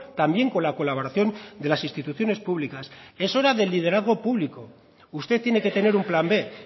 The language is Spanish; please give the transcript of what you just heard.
también con la colaboración de las instituciones públicas es hora del liderazgo público usted tiene que tener un plan b